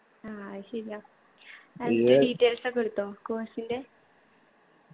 ആ അത് ശരിയാ എന്നിട്ട് details ഒക്കെ എടുത്തോ? course ൻ്റെ